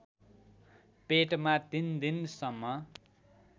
पेटमा ३ दिनसम्म